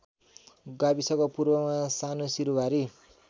गाविसको पूर्वमा सानुसिरुवारी